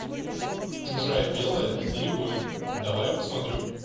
чужая белая и рябой давай я посмотрю